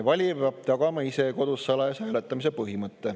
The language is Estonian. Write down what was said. Valija peab tagama ise kodus salajase hääletamise.